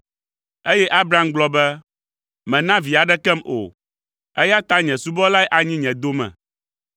Eye Abram gblɔ be, “Mèna vi aɖekem o, eya ta nye subɔlae anyi nye dome.”